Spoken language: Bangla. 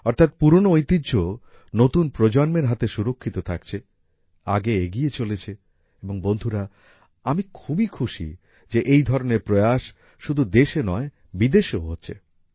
অর্থাৎ পুরনো ঐতিহ্য নতুন প্রজন্মের হাতে সুরক্ষিত থাকছে আগে এগিয়ে চলেছে এবং বন্ধুরা আমি খুবই খুশি যে এই ধরনের প্রয়াস শুধু দেশে নয় বিদেশেও হচ্ছে